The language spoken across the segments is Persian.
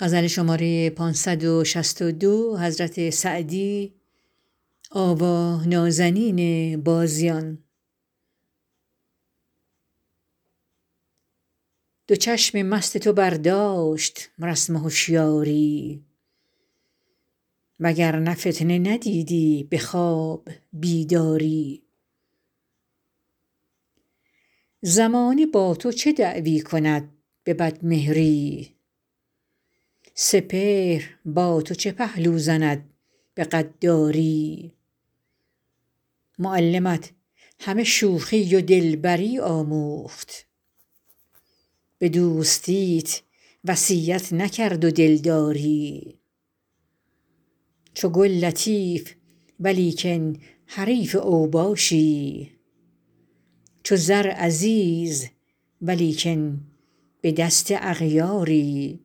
دو چشم مست تو برداشت رسم هشیاری و گر نه فتنه ندیدی به خواب بیداری زمانه با تو چه دعوی کند به بدمهری سپهر با تو چه پهلو زند به غداری معلمت همه شوخی و دلبری آموخت به دوستیت وصیت نکرد و دلداری چو گل لطیف ولیکن حریف اوباشی چو زر عزیز ولیکن به دست اغیاری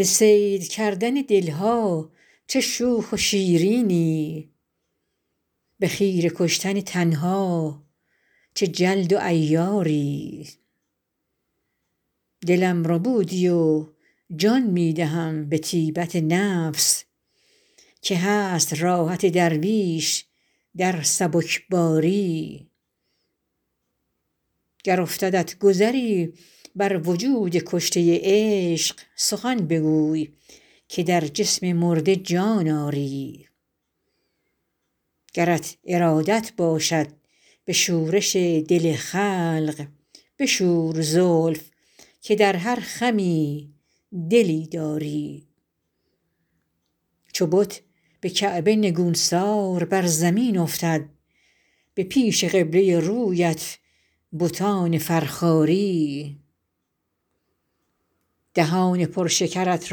به صید کردن دل ها چه شوخ و شیرینی به خیره کشتن تن ها چه جلد و عیاری دلم ربودی و جان می دهم به طیبت نفس که هست راحت درویش در سبکباری گر افتدت گذری بر وجود کشته عشق سخن بگوی که در جسم مرده جان آری گرت ارادت باشد به شورش دل خلق بشور زلف که در هر خمی دلی داری چو بت به کعبه نگونسار بر زمین افتد به پیش قبله رویت بتان فرخاری دهان پر شکرت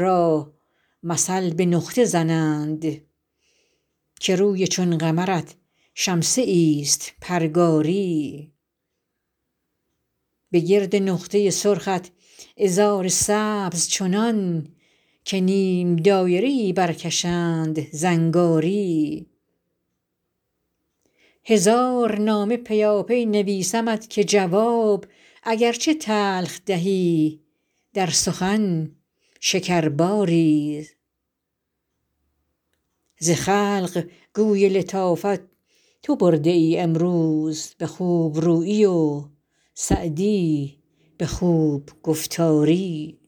را مثل به نقطه زنند که روی چون قمرت شمسه ایست پرگاری به گرد نقطه سرخت عذار سبز چنان که نیم دایره ای برکشند زنگاری هزار نامه پیاپی نویسمت که جواب اگر چه تلخ دهی در سخن شکرباری ز خلق گوی لطافت تو برده ای امروز به خوب رویی و سعدی به خوب گفتاری